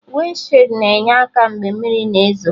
Wịndshid na-enye aka mgbe mmiri na ezo